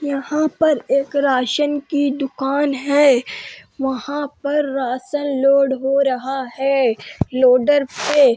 यहाँ पर एक राशन की दुकान है। वहां पर राशन लोड हो रहा है लोडर से। --